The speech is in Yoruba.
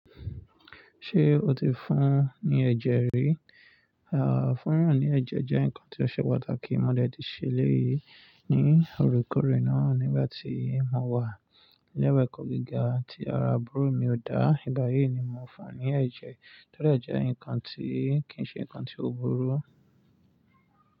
Ṣé o ti fún ní ẹ̀jẹ̀ rí? À, fún yan ní ẹ̀jẹ̀ jẹ́ nǹkan tí ó ṣe pàtàkì. Mo dẹ̀ ti ṣẹlẹ̀ yìí ní òrekoore náà nígbà tí mo wà ni ile ẹ̀kọ́ gíga tí ara búrọ̀ mi ò dá. Ìgbà yìí ni mo fà ní ẹ̀jẹ̀ torí jẹ́ nǹkan tí kì í ṣe nǹkan tí ó burú.